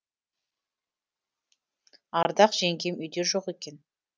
ардақ жеңгем үйде жоқ екен